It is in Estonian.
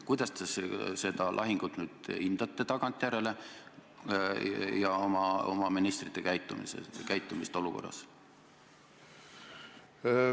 Kuidas te seda lahingut ja oma ministri käitumist tagantjärele hindate?